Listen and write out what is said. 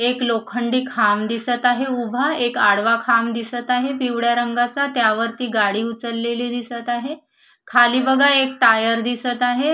एक लोखंडी खांब दिसत आहे उभा एक आडवा खांब दिसत आहे पिवळ्या रंगाचा त्यावरती गाडी उचललेली दिसत आहे खाली बघा एक टायर दिसत आहे.